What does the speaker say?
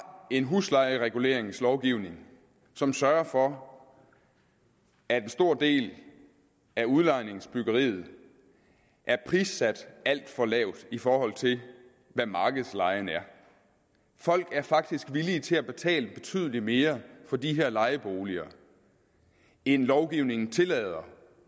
en huslejereguleringslovgivning som sørger for at en stor del af udlejningsbyggeriet er prissat alt for lavt i forhold til hvad markedslejen er folk er faktisk villige til at betale betydelig mere for de her lejeboliger end lovgivningen tillader